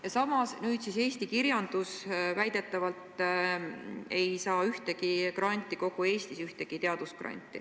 Ja samas ei eraldata nüüd eesti kirjanduse valdkonnas väidetavalt ühtegi teadusgranti kogu Eestis.